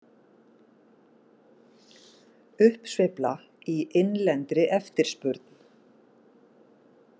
Uppsveifla í innlendri eftirspurn.